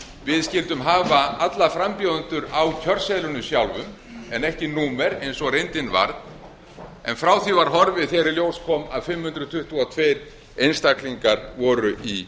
við skyldum hafa alla frambjóðendur á kjörseðlinum sjálfum en ekki númer eins og reyndin varð en frá því var horfið þegar í ljós kom að fimm hundruð tuttugu og tveir einstaklingar voru í